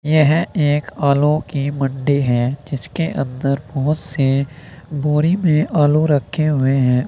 यह एक आलू की मंडी है जिसके अंदर बहोत से बोरी में आलू रखे हुए हैं।